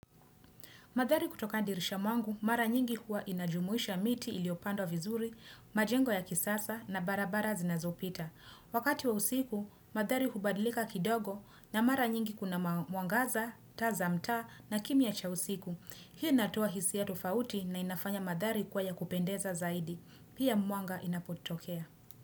Madhari kutoka dirisha mwangu, mara nyingi huwa inajumuisha miti iliopandwa vizuri, majengo ya kisasa na barabara zinazopita. Wakati wa usiku, madhari hubadlika kidogo na mara nyingi kuna mwangaza, taa za mtaa na kimya cha usiku. Hii inatoa hisi ya tofauti na inafanya madhari kuwa ya kupendeza zaidi. Pia mwanga inapotokea.